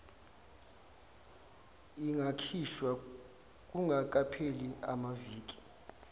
ingakhishwa kungakapheli amaviki